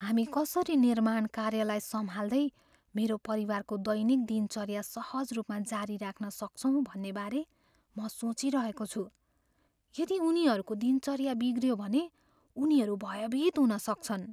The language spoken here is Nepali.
हामी कसरी निर्माण कार्यलाई सम्हाल्दै मेरो परिवारको दैनिक दिनचर्या सहज रूपमा जारी राख्न सक्छौँ भन्नेबारे म सोचिरहेको छु। यदि उनीहरूको दिनचर्या बिग्रियो भने उनीहरू भयभित हुन सक्छन्।